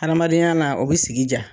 Adamadenya na o bɛ sigi diya.